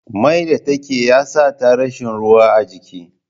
Mai da take ya sata rashi ruwa a jiki